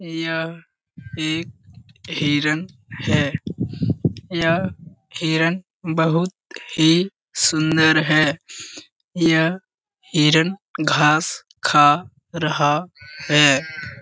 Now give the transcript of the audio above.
यह एक हिरन है यह हिरन बहुत ही सुन्दर है यह हिरन घास खा रहा है।